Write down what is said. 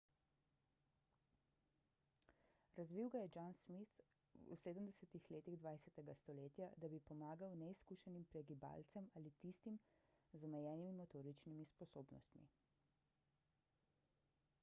razvil ga je john smith v 70 letih 20 stoletja da bi pomagal neizkušenim pregibalcem ali tistim z omejenimi motoričnimi sposobnostmi